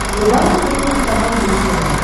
врубай на смотрешке канал бридж тв